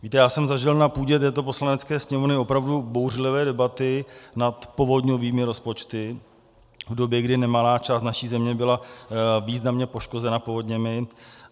Víte, já jsem zažil na půdě této Poslanecké sněmovny opravdu bouřlivé debaty nad povodňovými rozpočty v době, kdy nemalá část naší země byla významně poškozena povodněmi.